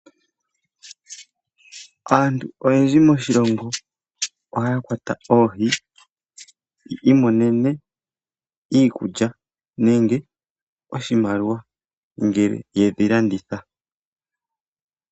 Aantu oyendji moshilongo ohaya kwata oohi yi imonene iikulya nenge oshimaliwa ngele yedhi landitha.